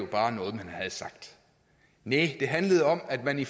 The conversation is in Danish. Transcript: bare noget man havde sagt næh det handlede om at man i